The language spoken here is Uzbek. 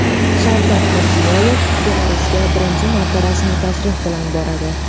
Shavkat Mirziyoyev Belarusga birinchi marta rasmiy tashrif bilan boradi.